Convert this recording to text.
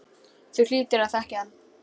Þú hlýtur að þekkja hann.